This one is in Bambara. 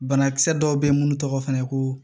Banakisɛ dɔw bɛ yen minnu tɔgɔ fana ko